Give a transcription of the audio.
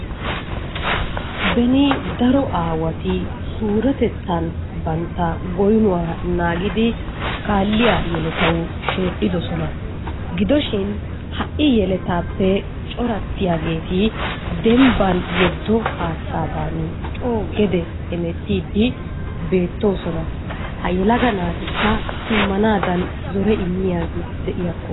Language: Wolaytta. Beni daro aawati surettettan bantta goynuwa naagidi kaaliya yelettawu shedhdhidoosona. Gidoshin ha'i yeletaappe coratiyageeti demmbban yeddo haatttaadan coo gedee hemettiidi beettoosona. Ha yelaga naatikka simmanaadan zore immiyabi de'iyakko.